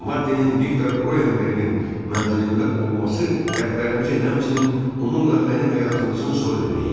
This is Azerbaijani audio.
Maddinin Viktor Roenberqin mənzilində olması dərdlərimizin, həmçinin onunla mənim həyatımızın sonu deməyi idi.